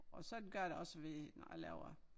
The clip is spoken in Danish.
Og sådan gør jeg det også ved når jeg laver